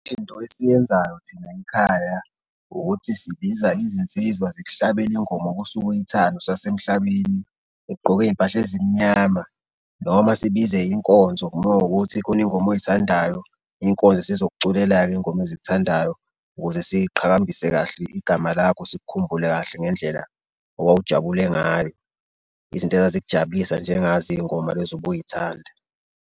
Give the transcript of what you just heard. Into esiyenzayo thina ekhaya ukuthi sibiza izinsizwa zikuhlabele ingoma-ke osuke uyithanda usasemhlabeni, ugqoke izimpahla ezimnyama noma sibize inkonzo mowukuthi kunengoma oyithandayo, inkonzo isizokuculela-ke izingoma ezikuthandayo ukuze siqhakambise kahle igama lakho, sikukhumbule kahle ngendlela owawujabule ngayo, izinto ezazikujabulisa njengazo izingoma lezi ubuyithanda.